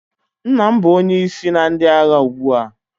Nna m bụ onye isi na ndị agha ugbu a.